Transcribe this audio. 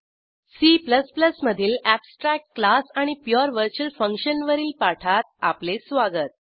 C मधील abstract class आणि pure virtual function वरील पाठात आपले स्वागत